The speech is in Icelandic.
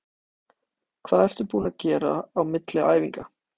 Hvað ertu búinn að gera á milli æfinga?